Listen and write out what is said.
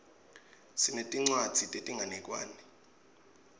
sinetincwadzi tetinganekwane